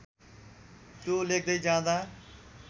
त्यो लेख्दै जाँदा